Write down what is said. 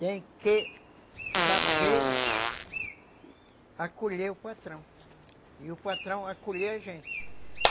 Tem que saber acolher o patrão, e o patrão acolher a gente.